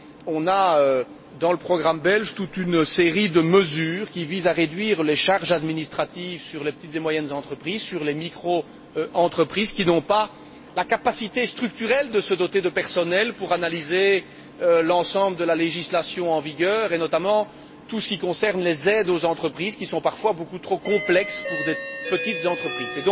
Nous avons, dans le programme belge, toute une série de mesures qui visent à réduire les charges administratives sur les petites et moyennes entreprises, sur les microentreprises qui n'ont pas la capacité structurelle de se doter de personnel pour analyser l'ensemble de la législation en vigueur, et notamment tout ce qui concerne les aides aux entreprises, qui sont parfois beaucoup trop complexes pour de petites entreprises.